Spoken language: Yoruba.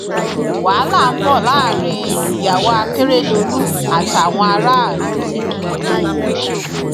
wàhálà ń bọ láàrin ìyàwó akérèdọlù àtàwọn aráàlú um